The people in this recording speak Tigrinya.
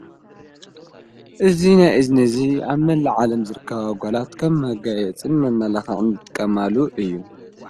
እዙይ ናይ እዝኒ እዙይ ኣመላ ዓለም ዘርካባ ጓላት ከም መጊይ እጽን መመላኽዕን ትቀማሉ እዩ።